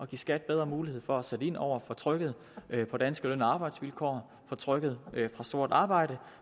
give skat bedre mulighed for at sætte ind over for trykket på danske løn og arbejdsvilkår for trykket fra sort arbejde